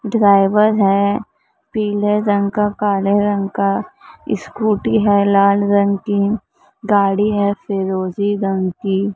driver है पीले रंग का काले रंग का स्कूटी है लाल रंग की गाड़ी है फिरोजी रंग की--